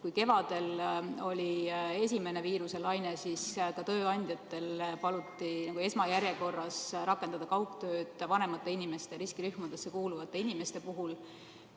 Kui kevadel oli esimene viiruse laine, siis tööandjatel paluti esmajärjekorras rakendada kaugtööd vanemate inimeste, riskirühmadesse kuuluvate inimeste puhul.